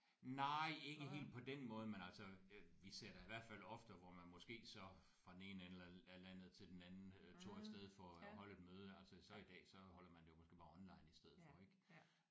Nej ikke helt på den måde men altså øh vi ser da i hvert fald ofte hvor man måske så fra den ene ende af af landet til den anden øh tog afsted for at holde et møde altså så i dag holder så man det jo måske bare online i stedet for ik